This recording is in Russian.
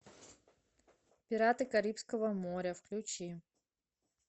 пираты карибского моря включи